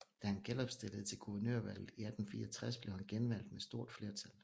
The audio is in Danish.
Da han genopstillede til guvernørvalget i 1864 blev han genvalgt med stort flertal